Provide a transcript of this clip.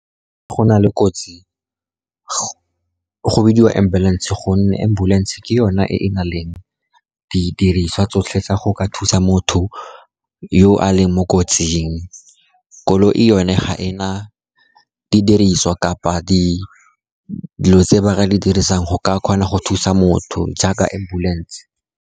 Go na le kotsi go bidiwa ambulance, gonne ambulance ke yone e e na leng didiriswa tsotlhe tsa go ka thusa motho yo a leng mo kotsing. Koloi yone, ga e na didiriswa kapa dilo tse ba ka di dirisang go ka kgona go thusa motho jaaka ambulance.